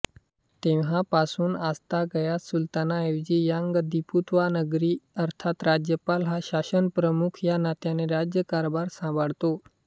तेव्हापासून आजतागायत सुलतानाऐवजी यांग दिपर्तुआ नगरी अर्थात राज्यपाल हा शासनप्रमुख या नात्याने राज्यकारभार सांभाळतो